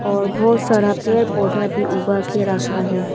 और बहोत सारा पेड़ पौधा भी उगा के रखा है।